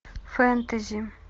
фэнтези